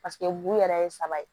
Paseke mugun yɛrɛ ye saba ye